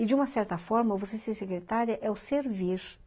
E, de uma certa forma, você ser secretária é o servir.